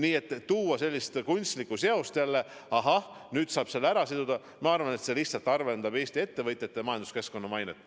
Aga jah, luua selline kunstlik seos, et ahah, nüüd saab selle omavahel siduda – ma arvan, et see lihtsalt halvendab Eesti ettevõtjate ja majanduskeskkonna mainet.